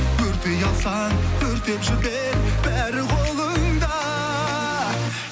өртей алсаң өртеп жібер бәрі қолыңда